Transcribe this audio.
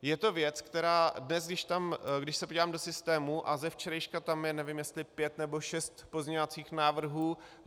Je to věc, která dnes, když se podívám do systému, a ze včerejška tam je, nevím, jestli pět nebo šest pozměňovacích návrhů.